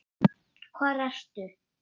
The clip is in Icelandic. Hvar ertu?